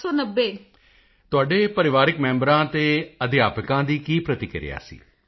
ਮੋਦੀ ਜੀ ਤੁਹਾਡੇ ਪਰਿਵਾਰਕ ਮੈਂਬਰਾਂ ਅਤੇ ਅਧਿਆਪਕਾਂ ਦੀ ਕੀ ਪ੍ਰਤੀਕਿਰਿਆ sਸੀ